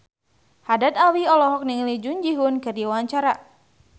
Haddad Alwi olohok ningali Jun Ji Hyun keur diwawancara